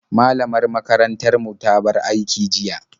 Malamar makarantar mu ta bar aiki jiya.